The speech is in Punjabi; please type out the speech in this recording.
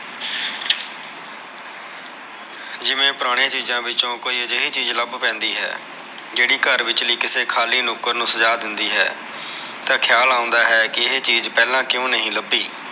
ਜਿਵੇ ਪੁਰਾਣੀ ਚੀਜਾ ਵਿਚੋ ਕੋਈ ਅਜੇਹੀ ਚੀਜ ਲਭ ਪੈਂਦੀ ਹੈ ਜਿਹੜੀ ਘਰ ਵਿਚਲੀ ਕਿਸੇ ਖਾਲੀ ਨੁਕਰ ਨੂ ਸਜਾ ਦਿੰਦੀ ਹੈ ਤਾ ਖਿਆਲ ਆਉਂਦਾ ਹੈ ਕੇ ਇਹ ਚੀਜ ਪਹਿਲਾ ਕਿਉ ਨਹੀ ਲਭੀ